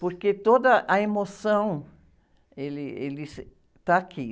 Porque toda a emoção, ele, ele, está aqui.